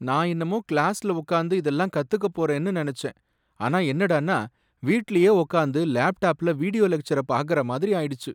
நான் என்னமோ கிளாஸ்ல உட்கார்ந்து இதெல்லாம் கத்துக்கப் போறேன்னு நனச்சேன், அது என்னடான்னா வீட்லயே உக்காந்து லேப்டாப்ல வீடியோ லெக்ச்சர பார்க்கிற மாதிரி ஆயிடுச்சு.